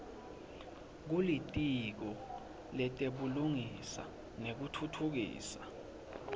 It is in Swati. kulitiko letebulungisa nekutfutfukiswa